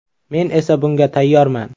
Men esa bunga tayyorman”.